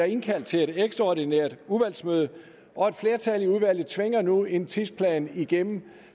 indkaldt til et ekstraordinært udvalgsmøde og et flertal i udvalget tvinger nu en tidsplan igennem